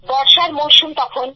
বর্ষার মরশুম তখন